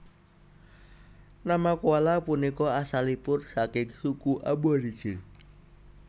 Nama koala punika asalipun saking suku Aborigin